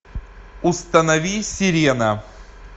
установи сирена